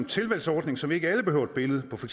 tilvalgsordning så vi ikke alle behøver et billede på for